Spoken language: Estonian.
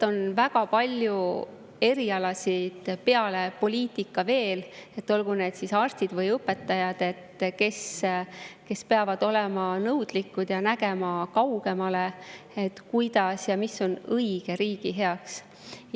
On väga palju peale poliitikute veel, olgu need siis arstid või õpetajad, kes peavad olema nõudlikud ja nägema kaugemale, mis on õige riigi heaks.